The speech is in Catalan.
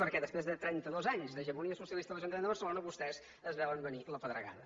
perquè després de trenta dos anys d’hegemonia socialista a l’ajuntament de barcelona vostès es veuen venir la pedregada